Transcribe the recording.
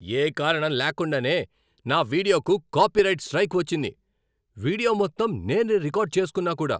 ఏ కారణం లేకుండానే నా వీడియోకు కాపీరైట్ స్ట్రైక్ వచ్చింది. వీడియో మొత్తం నేనే రికార్డ్ చేసుకున్నా కూడా.